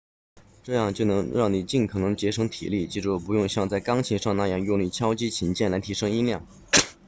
这样就能让你尽可能节省体力记住不用像在钢琴上那样用力敲击琴键来提升音量